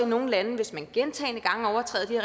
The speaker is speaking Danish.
nogle lande gentagne gange overtræder de